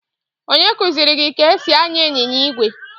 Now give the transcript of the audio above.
Onye kuziri gi ka esi ànyà anyịnya igwe?